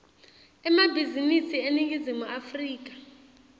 emabhizinisi eningizimu afrika